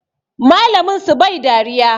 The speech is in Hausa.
Malamin su bai dariya